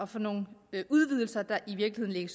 for nogle udvidelser der i virkeligheden